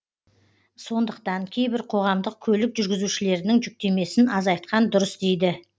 сондықтан кейбір қоғамдық көлік жүргізушілерінің жүктемесін азайтқан дұрыс дейді